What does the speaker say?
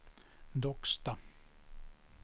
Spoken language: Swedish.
Docksta